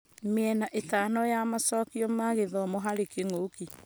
Mĩena ĩtano ya macokio ma gĩthomo harĩ kĩng'ũki